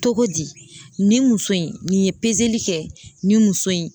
Cogodi? Nin muso in nin ye li kɛ nin muso in